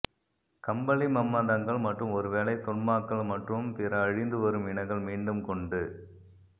கம்பளி மம்மதங்கள் மற்றும் ஒருவேளை தொன்மாக்கள் மற்றும் பிற அழிந்து வரும் இனங்கள் மீண்டும் கொண்டு